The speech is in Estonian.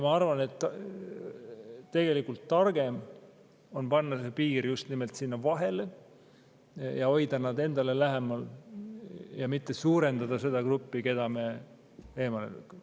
Ma arvan, et targem on tõmmata piir just nimelt sinna vahele ja hoida nad endale lähemal, mitte suurendada seda gruppi, keda me eemale tõukame.